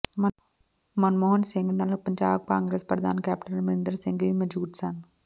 ਮਨਮੋਹਨ ਸਿੰਘ ਨਾਲ ਪੰਜਾਬ ਕਾਂਗਰਸ ਪ੍ਰਧਾਨ ਕੈਪਟਨ ਅਮਰਿੰਦਰ ਸਿੰਘ ਵੀ ਮੌਜੂਦ ਸਨ